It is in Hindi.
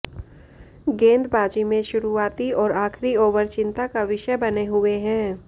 गेंदबाजी में शुरूआती और आखिरी ओवर चिंता का विषय बने हुए हैं